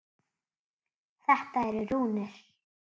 Þetta eru rúnir.